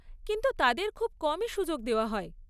কিন্তু তাদের খুব কমই সুযোগ দেওয়া হয়।